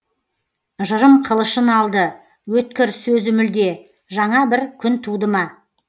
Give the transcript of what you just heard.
жырым қылышын алды өткір сөзі мүлде жаңа бір күн туды ма